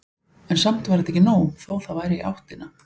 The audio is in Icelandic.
En samt var þetta ekki nóg, þó það væri í áttina.